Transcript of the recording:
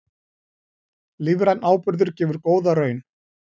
Lífrænn áburður gefur góða raun